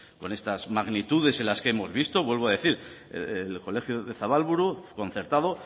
con estas magnitudes que hemos visto vuelvo a decir el colegio de zabalburu concertado